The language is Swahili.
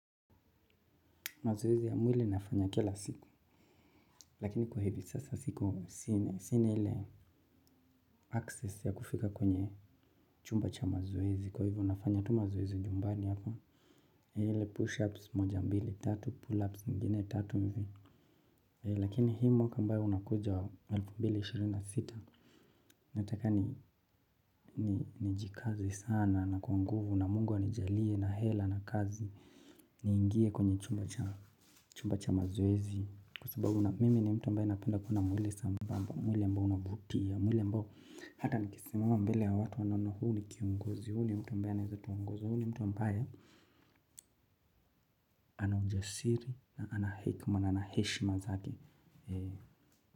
Mazoezi ya mwili nafanya kila siku. Lakini kwa hivi sasa sina ili access ya kufika kwenye chumba cha mazoezi. Kwa hivyo nafanya tu mazoezi nyumbani hapa. Ile push-ups moja mbili, tatu pull-ups mengine tatu hivi. Lakini hii mwaka ambayo unakuja wa elfu mbili ishirini na sita. Nataka nijikaze sana na kwa nguvu na Mungu anijalie na hela na kazi. Niingie kwenye chumba cha mazoezi. Kwa sababu mimi ni mtu ambae napenda kuwa na mwili sambamba mwili ambao unavutia mwili ambao hata nikisimama mbele ya watu wanana huyu ni kiongozi huyu ni mtu ambae anaweza tungoza huyu mtu ambae ana ujasiri na ana hekima na anaheshima zake.